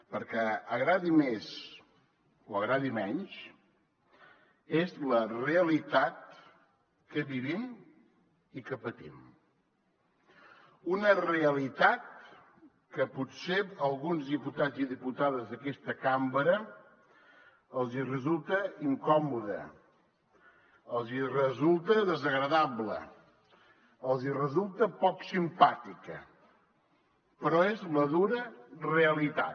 perquè agradi més o agradi menys és la realitat que vivim i que patim una realitat que potser a alguns diputats i diputades d’aquesta cambra els hi resulta incòmoda els hi resulta desagradable els hi resulta poc simpàtica però és la dura realitat